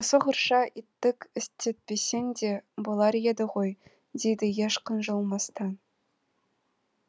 осығұрша иттік істетпесең де болар едіғой дейді еш қынжылмастан